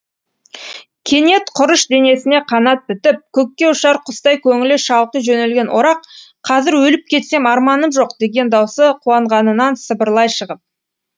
кенет құрыш денесіне қанат бітіп көкке ұшар құстай көңілі шалқи жөнелген орақ қазір өліп кетсем арманым жоқ деген даусы қуанғанынан сыбырлай шығып